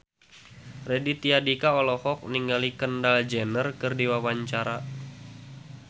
Raditya Dika olohok ningali Kendall Jenner keur diwawancara